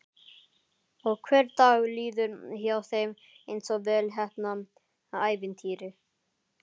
Og hver dagur líður hjá þeim einsog vel heppnað ævintýri.